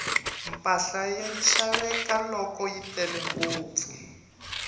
mpahla yi xaveka loko yi tele ngopfu